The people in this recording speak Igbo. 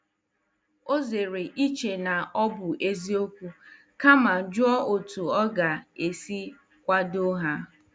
Ọ zere iche na ọ bụ eziokwu kama jụọ otu ọ ga-esi kwado ha.